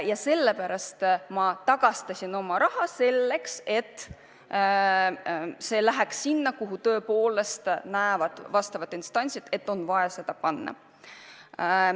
Ja selle pärast ma tagastasin oma lisaraha, et see läheks sinna, kuhu asjaomaste instantside arvates on vaja seda suunata.